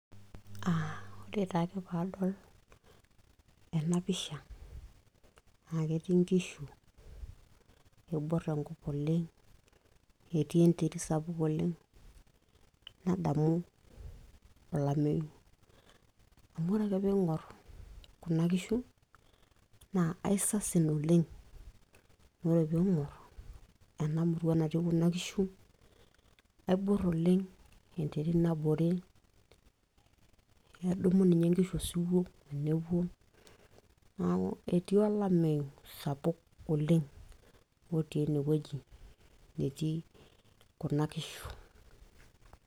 Aah oretaake ake paadol ena pisha ,na ketii nkishu ,neibor enkop oleng, etii enterit sapuk oleng nadamu olameyu, amu ore peingor kuna kishu na kaisasin oleng na ore peingur ena murua natii kuna kishu keibor naleng enterit nabore, nedumu nye nkishu osiwuo tenepuo. Etii olameyu sapuk oleng otii enewueji netii kuna kishu.